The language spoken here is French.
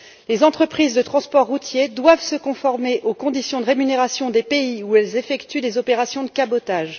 Les entreprises de transport routier doivent se conformer aux conditions de rémunération des pays où elles effectuent des opérations de cabotage.